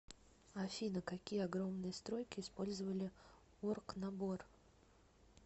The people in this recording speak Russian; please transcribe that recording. афина какие огромные стройки использовали оргнабор